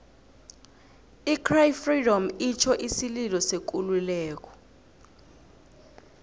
i cry freedom itjho isililo sekululeko